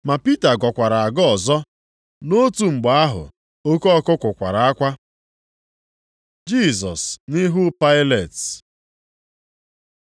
Ma Pita gọkwara agọ ọzọ. Nʼotu mgbe ahụ oke ọkụkụ kwara akwa. Jisọs nʼihu Pailet